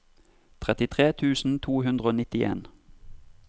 trettitre tusen to hundre og nittien